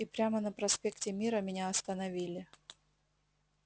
и прямо на проспекте мира меня остановили